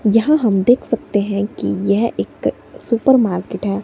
जहां हम देख सकते हैं कि यह एक सुपर मार्केट है।